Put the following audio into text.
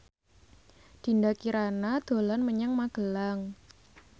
Dinda Kirana dolan menyang Magelang